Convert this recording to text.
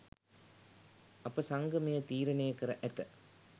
අප සංගමය තීරණය කර ඇත